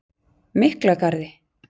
Miklagarði